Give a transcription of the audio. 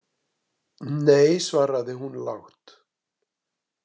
Nei, svaraði hún lágt.